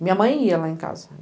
Minha mãe ia lá em casa.